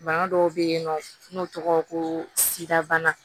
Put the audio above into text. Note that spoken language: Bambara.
Bana dɔw bɛ yen nɔ n'o tɔgɔ ko sida bana